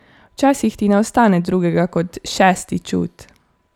Včasih ti ne ostane drugega kot šesti čut.